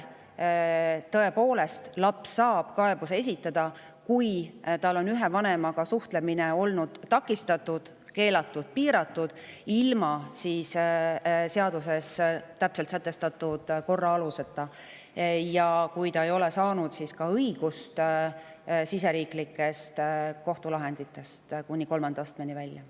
Tõepoolest saab laps kaebuse esitada, kui tal on olnud ühe vanemaga suhtlemine takistatud, keelatud või piiratud ilma seaduses täpselt sätestatud aluse või korrata ja kui ta ei ole saanud siseriiklikest kohtulahenditest õigust kuni kolmanda astmeni välja.